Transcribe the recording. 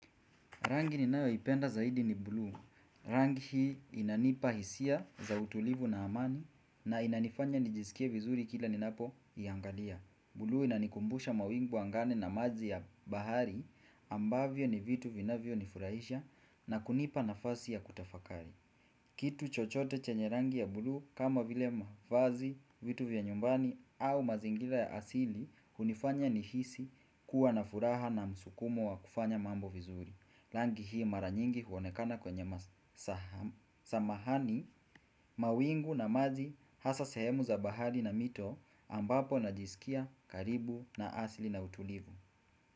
Rangi ninayoipenda zaidi ni buluu. Rangi hii inanipa hisia za utulivu na amani. Na inanifanya nijisikie vizuri kila ninapoiangalia. Buluu inanikumbusha mawingu angani na maji ya bahari ambavyo ni vitu vinavyo nifurahisha na kunipa nafasi ya kutafakari. Kitu chochote chenye rangi ya bulu kama vile mavazi, vitu vya nyumbani au mazingira ya asili hunifanya nihisi kuwa na furaha na msukumo wa kufanya mambo vizuri. Rangi hii mara nyingi huonekana kwenye samahani mawingu na maji hasa sehemu za bahari na mito ambapo najidikia karibu na asili na utulivu.